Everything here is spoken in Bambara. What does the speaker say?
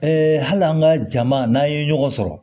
hali an ka jama n'an ye ɲɔgɔn sɔrɔ